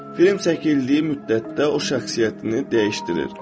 Film çəkildiyi müddətdə o şəxsiyyətini dəyişdirir.